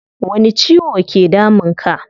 Wani ciwo ke damun ka?